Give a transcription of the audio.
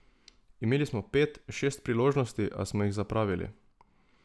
Imeli smo pet, šest priložnosti, a smo jih zapravili.